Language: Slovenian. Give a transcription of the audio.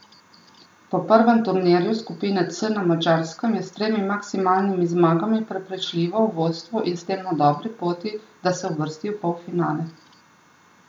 Po prvem turnirju skupine C na Madžarskem je s tremi maksimalnimi zmagami prepričljivo v vodstvu in s tem na dobri poti, da se uvrsti v polfinale.